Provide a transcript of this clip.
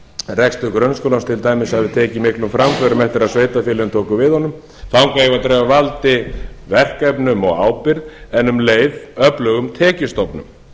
rekstur grunnskólans til dæmis hafi tekið miklum framförum eftir að sveitarfélögin tóku við honum þangað eigum við að dreifa valdi verkefnum og ábyrgð en um leið öflugum tekjustofnum